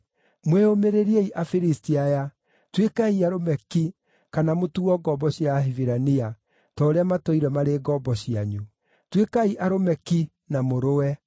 Mwĩyũmĩrĩriei, Afilisti aya! Tuĩkai arũme ki, kana mũtuo ngombo cia Ahibirania, ta ũrĩa matũire marĩ ngombo cianyu. Tuĩkai arũme ki, na mũrũe!”